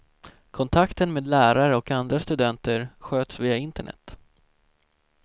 Kontakten med lärare och andra studenter sköts via internet.